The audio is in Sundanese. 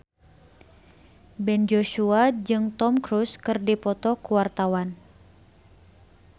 Ben Joshua jeung Tom Cruise keur dipoto ku wartawan